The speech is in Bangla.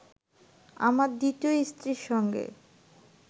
আমার দ্বিতীয় স্ত্রীর সঙ্গে